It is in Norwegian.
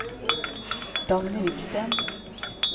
Dagny Hvidsten